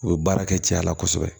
U bɛ baara kɛ cɛya la kosɛbɛ